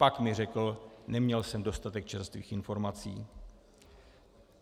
Pak mi řekl: neměl jsem dostatek čerstvých informací.